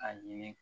A ɲini